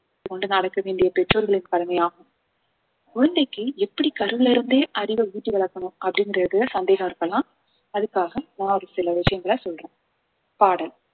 கொண்டு நடக்க வேண்டிய பெற்றோர்களின் கடமையாகும் குழந்தைக்கு எப்படி கருவில் இருந்தே அறிவை ஊட்டி வளர்க்கணும் அப்படிங்கிறதுல சந்தேகம் இருக்கலாம் அதுக்காக நான் ஒரு சில விஷயங்களை சொல்றேன் பாடல்